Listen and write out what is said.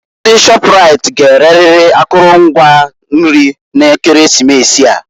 Ndị Shọpraịt g'ereriri akụlụ ngwa nri na Ekeresimesi a.